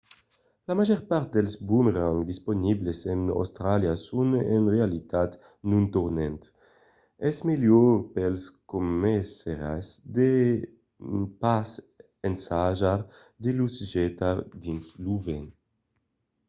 la màger part dels bomerangs disponibles en austràlia son en realitat non tornants. es melhor pels començaires de pas ensajar de los getar dins lo vent